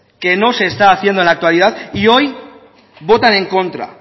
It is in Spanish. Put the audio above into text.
que no se está haciendo en la actualidad y hoy votan en contra